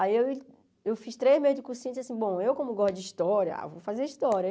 Aí eu fiz três meses de cursinho e disse assim, bom, eu como gosto de história, ah vou fazer história.